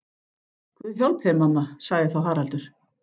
Guð hjálpi þér mamma, sagði þá Haraldur.